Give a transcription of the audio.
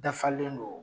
Dafalen don